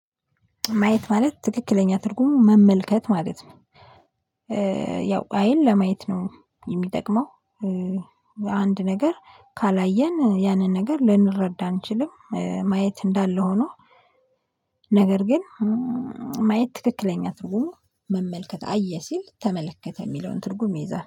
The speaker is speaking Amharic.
ማየት ማለት ትክክለኛ ትርጉሙ መመልከት ማለት ነው። ያው አይን ለማየት ነው የሚጠቅመው አንድ ነገር ካላየን ያንን ነገር ልንረዳ አንችልም ማየት እንዳለ ሆኖ ነገር ግን ማየት ትክክለኛ ትርጉሙ መመልከት አየ ሲል ተመለከተ የሚለውን ትርጉም ይይዛል